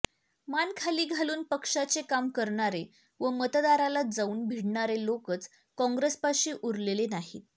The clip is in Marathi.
मान खाली घालून पक्षाचे काम करणारे व मतदाराला जाऊन भिडणारे लोकच काँग्रेसपाशी उरलेले नाहीत